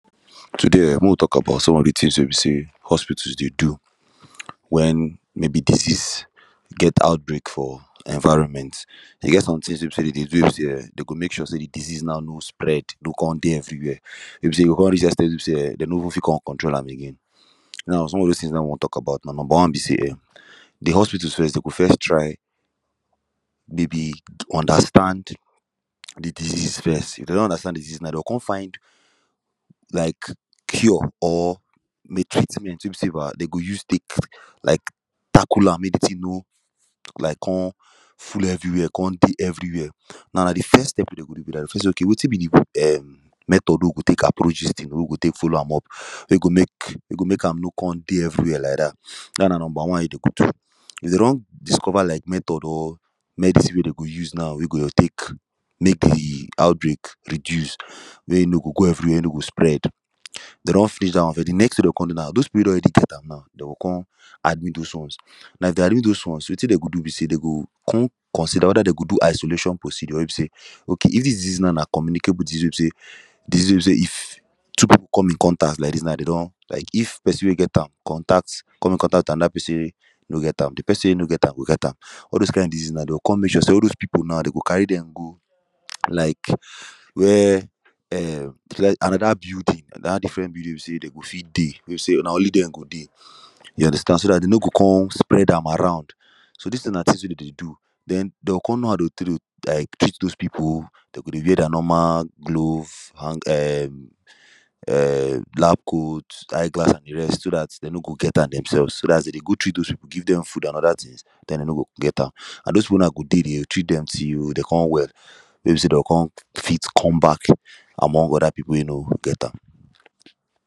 Today um make we tok about some of the tins wey be say hospital dey do wen maybe disease get out break for environment e get some tins wey be say dem dey do wey be say um dey go mek sure say de disease now no spread no come dey everywia wey be say e go come reach ex ten t wey be say um dem no even fit come control am again now some of those tins na him we wan tok about number one be say um de hospitals first dem go first try maybe understand de disease first if dey don understand de disease dem go come find like cure or treatment wey be say dey go use tek like tackle am mek de tin no like com full everywia com dey everywia now na de first step wey dey go do be dat dey go first say okay wetin be de um method wey we go tek approach dis ting wey we go tek follow am up wey go mek wey go mek am no com dey everywia like dat dat na number one e dey good if dem don discover like method or medicine wey dey go dey use now dem go tek mek de outbreak reduce wey e no go go everywia e no go spread dem don finish dat one now de next ting wey dey go come do now those people wey don already get am now dey go come admit those ones as dey admit those ones wetin dem go do be say dem go con consider weda dem go do isolation procedure wey be say okay if this disease now na communicable disease now wey be say if two people come in contact like dis now dey don like of person wey get am contact come contact anoda person wey no get am de person wey no get am go get am all those kind disease now dey go come mek sure say all those people now dem go carry dem go like were um anoda building anoda different building wey be say dem go fit dey wey be say na only dem go dey you understand so dat dem no go com spread am around so dis tins na tins wey dem dey do so dem go com know how to like treat those people dem go dey wear dia normal glove um um lab coat eye glass an de rest so dat dem no go get am then selfs so dat as dem dey go treat those people give dem food and oda tins dem dem no go get am an those people now do dey dem go treat dem till dey come well wey be say dem go come fit come back among oda people wey no get am